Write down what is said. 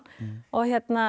og